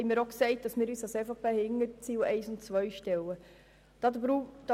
Als EVP stehen wir hinter den Zielen 1 und 2.